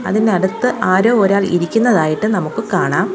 ഇതിനടുത്ത് ആരോ ഒരാൾ ഇരിക്കുന്നതായിട്ട് നമുക്ക് കാണാം.